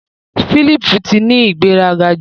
Philip ti ni ìgbéraga jù.